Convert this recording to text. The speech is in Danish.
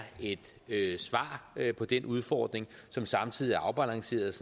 et svar på den udfordring som samtidig er afbalanceret